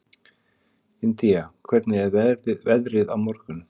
Indía, hvernig er veðrið á morgun?